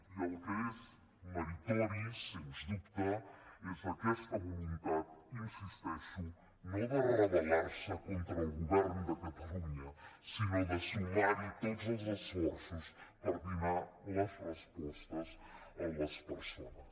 i el que és meritori sens dubte és aquesta voluntat hi insisteixo no de rebel·de catalunya sinó de sumar hi tots els esforços per donar les respostes a les persones